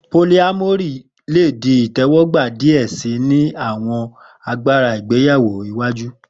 Polyamory le di itẹwọgba diẹ sii ni awọn agbara ìgbéyáwó iwaju.